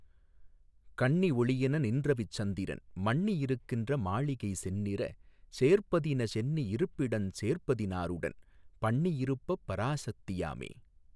கன்னி ஒளியென நின்றவிச் சந்திரன் மன்னி யிருக்கின்ற மாளிகை செந்நிறஞ் சேர்பதின சென்னி யிருப்பிடஞ் சேர்பதி னாறுடன் பன்னி யிருப்பப் பராசத்தி யாமே.